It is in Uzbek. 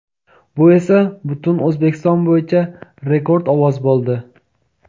Bu esa butun O‘zbekiston bo‘yicha rekord ovoz bo‘ldi.